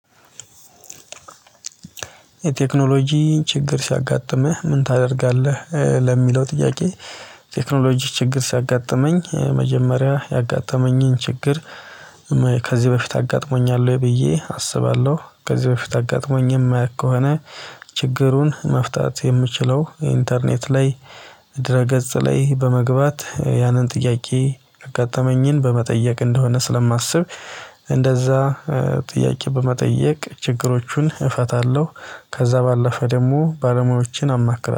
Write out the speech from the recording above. የቴክኖሎጂ ችግር ሲያጋጥምህ ምን ታደርጋለህ ለሚለው ጥያቄ? ቴክኖሎጂ ችግር ሲያጋጥመኝ መጀመሪያ ያጋጠመኝን ችግር ከዚህ በፊት አጋጥሞኛል ወይ ብዬ አስባለሁ። ከዚህ በፊት አጋጥሞኝ የማያውቅ ከሆነ። ችግሩን መፍታት የምችለው ኢንተርኔት ላይ ድህረ ገጽ ላይ በመግባት ያንን ጥያቄ ያጋጠመኝን በመጠየቅ እንደሆነ ስለማስብ። እንደዛ ጥያቄ በመጠየቅ ችግሮቹን እፈታለሁ። ከዛ ባለፈ ደግሞ ባለሙያዎችን አማክራለሁ